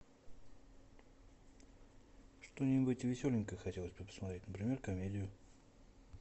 что нибудь веселенькое хотелось бы посмотреть например комедию